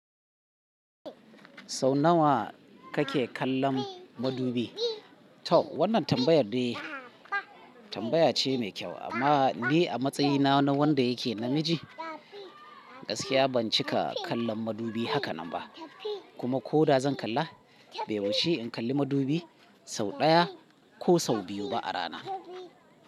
Sau nawa kake kallon madubi? To wannan tambayar dai tambaya ce mai kyau, amma ni a matsayina na wanda yake namiji, gaskiya ban cika kallon madubi haka nan ba. Kuma ko da zan kalla, bai wuce in kalli madubi sau ɗaya ko sau biyu ba a rana.